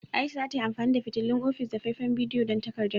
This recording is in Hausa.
Aisha za ta yi amfani da fitilun ofis da faifan bidiyo don takardar.